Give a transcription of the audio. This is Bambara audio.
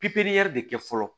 pepiɲɛri de kɛ fɔlɔ